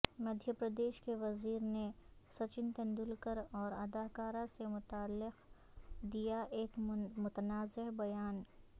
مدھیہ پردیش کے وزیر نے سچن تندولکر اور اداکارہ سے متعلق دیا ایک متنازع بیان